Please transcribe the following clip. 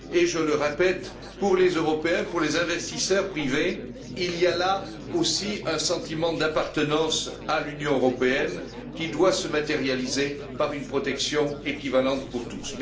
Je le répète, pour les Européens, pour les investisseurs privés, il y là aussi un sentiment d'appartenance à l'Union européenne qui doit se matérialiser par une protection équivalente pour tous.